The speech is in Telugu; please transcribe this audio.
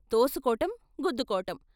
తోసుకోటం గుద్దుకోటం.